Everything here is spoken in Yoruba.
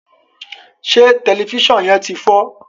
se Tẹlifísàn yén tí fọ?